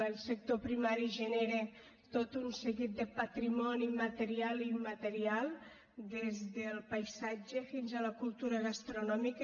el sector primari genera tot un seguit de patrimoni material i immaterial des del paisatge fins a la cultura gastronòmica